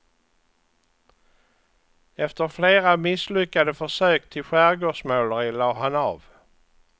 Efter flera misslyckade försök till skärgårdsmåleri lade han av.